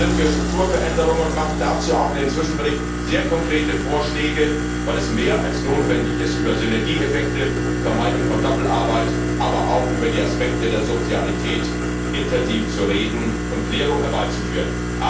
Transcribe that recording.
Wir sind für Strukturveränderungen und machen dazu in dem Zwischenbericht sehr konkrete Vorschläge, weil es mehr als notwendig ist, über Synergieeffekte, Vermeidung von Doppelarbeit, aber auch über die Aspekte der Subsidiarität intensiv zu reden und Klärung herbeizuführen.